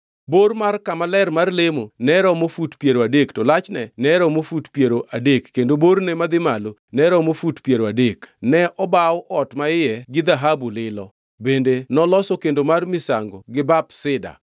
Bor mar kama ler mar lemo ne romo fut piero adek to lachne ne romo fut piero adek kendo borne madhi malo ne romo fut piero adek. Ne obawo ot maiye gi dhahabu lilo, bende noloso kendo mar misango gi bap sida.